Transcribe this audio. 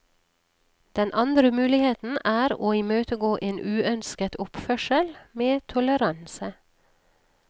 Den andre muligheten er å imøtegå en uønsket oppførsel med toleranse.